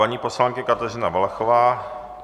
Paní poslankyně Kateřina Valachová.